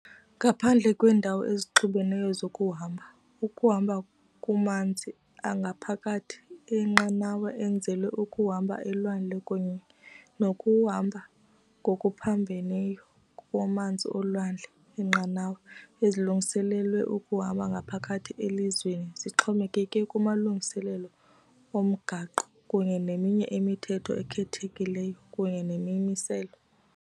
Ngaphandle kweendawo ezixubeneyo zokuhamba, ukuhamba kumanzi angaphakathi enqanawe enzelwe ukuhamba elwandle kunye nokuhamba ngokuphambeneyo kumanzi olwandle eenqanawa ezilungiselelwe ukuhamba ngaphakathi elizweni zixhomekeke kumalungiselelo omgaqo kunye neminye imithetho ekhethekileyo kunye nemimiselo.